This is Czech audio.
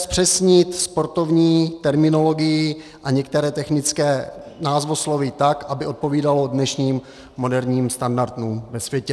Zpřesnit sportovní terminologii a některé technické názvosloví tak, aby odpovídalo dnešním moderním standardům ve světě.